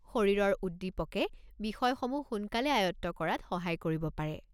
শৰীৰৰ উদ্দীপকে বিষয়সমূহ সোনকালে আয়ত্ত কৰাত সহায় কৰিব পাৰে।